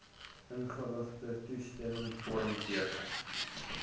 ingeligte toestemmingvorm teken